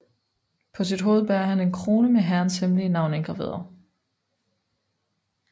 På sit hoved bærer han en krone med Herrens hemmelige navn indgraveret